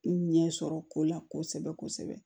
N ɲɛ sɔrɔ ko la kosɛbɛ kosɛbɛ